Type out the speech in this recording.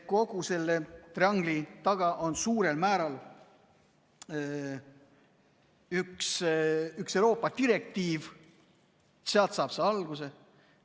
... triangli taga on suurel määral üks Euroopa direktiiv, sealt saab see alguse.